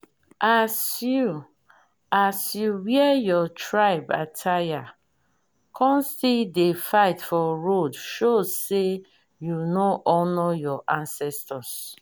as you as you wear your tribe attire con still dey fight for road show say you no honour your ancestors.